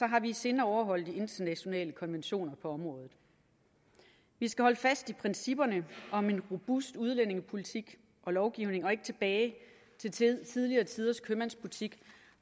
har vi i sinde at overholde de internationale konventioner på området vi skal holde fast i principperne om en robust udlændingepolitik og lovgivning og ikke tilbage til tidligere tiders købmandsbutik